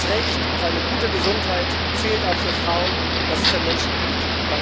Das Recht auf eine gute Gesundheit zählt auch für Frauen das ist ein Menschenrecht!